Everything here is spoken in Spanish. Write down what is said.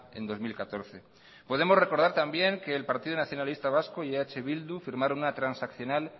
en dos mil catorce podemos recordar también que el partido nacionalista vasco y eh bildu firmaron una transaccional